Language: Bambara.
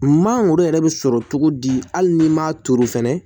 Mangoro yɛrɛ bɛ sɔrɔ cogo di hali ni m'a turu fɛnɛ